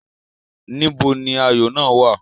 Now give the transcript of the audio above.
Níbo ni ayò náà wà?